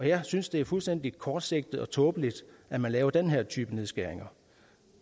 jeg synes det er fuldstændig kortsigtet og tåbeligt at man laver den her type nedskæringer